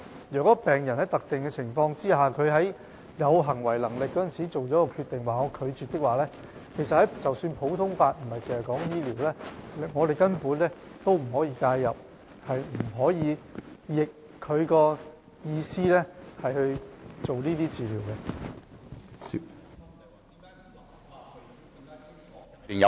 如果病人在特定的情況下，在其有行為能力時已作出拒絕治療的決定，則不論是在醫療倫理或普通法下，我們也不可以介入，不可以違背病人的意思進行治療。